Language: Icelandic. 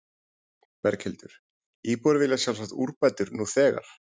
Berghildur, íbúar vilja sjálfsagt úrbætur nú þegar?